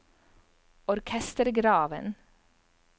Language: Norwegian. orkestergraven